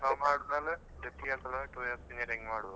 ಆದ್ಮೇಲೆ two years engineering ಮಾಡ್ಬೋದು.